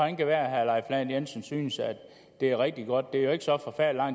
det være herre leif lahn jensen synes at det er rigtig godt det er jo ikke så forfærdelig